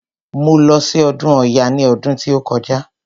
Mo lọ sí ọdún ọya ní ọdún tí ó kọjá.